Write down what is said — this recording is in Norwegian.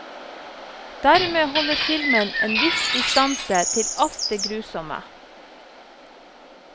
Dermed holder filmen en viss distanse til alt det grusomme.